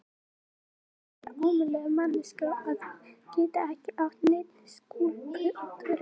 Ég er alveg að verða ómöguleg manneskja að geta ekki átt neitt við skúlptúrinn.